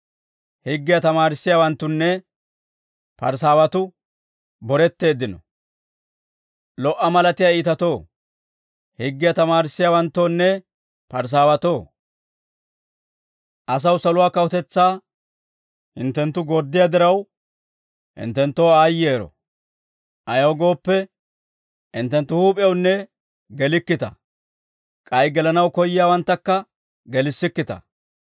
«Lo"a malatiyaa iitatoo, higgiyaa tamaarissiyaawanttoonne Parisaawatoo, asaw saluwaa kawutetsaa hinttenttu gorddiyaa diraw, hinttenttoo aayyero; ayaw gooppe, hinttenttu huup'ewunne gelikkita; k'ay gelanaw koyyiyaawanttakka gelissikkita.